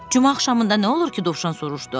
"Cümə axşamında nə olur ki?" Dovşan soruşdu.